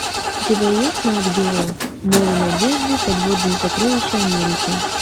у тебя есть нат гео море надежды подводные сокровища америки